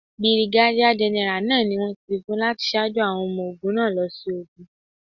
Bìrìgádíà gẹ́nẹ́rà náà ni wón ti fífún láti ṣáájú àwọn ọmọ ogún náà lọ sí ogun.